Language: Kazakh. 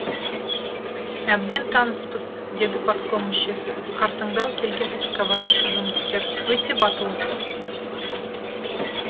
әбден таныспыз деді партком мүшесі қартаңдау келген экскаваторшы жұмыскер өте батыл ұсыныс